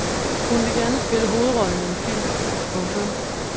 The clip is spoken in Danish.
Hun vil gerne spille hovedrollen i en film. punktum